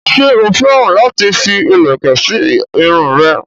ṣé ó féràn láti fi ìlẹ̀kẹ̀ sí irun rẹ̀?